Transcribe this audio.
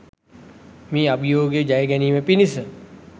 මේ අභියෝගය ජයගැනීම පිණිස